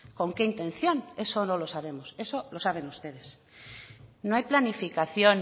con qué intención eso no lo sabemos eso lo saben ustedes no hay planificación